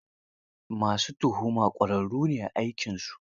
Ma su tuhuma ƙwararru ne a aikinsu.